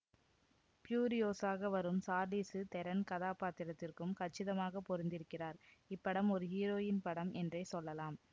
ப்யூரியோசாக வரும் Charlize Theron கதாபாத்திரத்திற்கு கச்சிதமாக பொருந்திருக்கிறார் இப்படம் ஒரு ஹீரோயின் படம் என்றே சொல்லலாம்